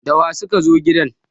da wa suka zo gidan!